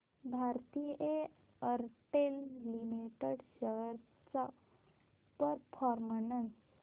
Bharti Airtel limited shares चा performance